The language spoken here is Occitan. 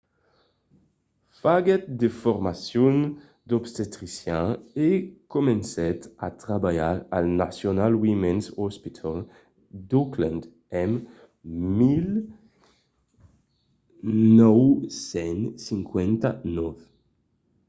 faguèt de formacions d'obstetrician e comencèt a trabalhar al national women's hospital d'auckland en 1959